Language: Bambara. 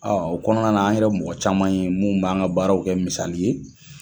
O kɔnɔna na an yɛrɛ mɔgɔ caman ye munnu b'an ka baaraw kɛ misali ye.